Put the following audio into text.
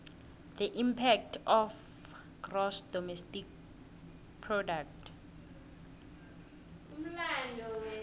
the impact of gross domestic product